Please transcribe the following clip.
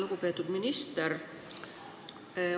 Lugupeetud minister!